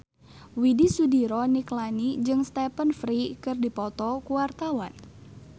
Widy Soediro Nichlany jeung Stephen Fry keur dipoto ku wartawan